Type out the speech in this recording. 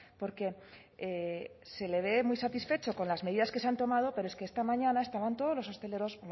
porque se le ve muy satisfecho con las medidas que se han tomado pero es que esta mañana estaban todos los hosteleros